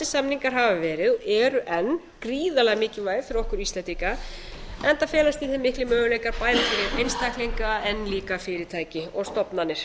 samningar hafa verið og eru enn gríðarlega mikilvæg fyrir okkur íslendinga enda felast í þeim miklir möguleikar bæði fyrir einstaklinga en líka fyrirtæki og stofnanir